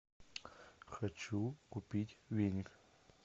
хочу купить веник